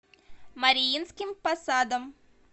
мариинским посадом